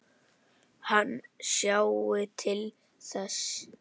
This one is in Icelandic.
Hann sjái til þess.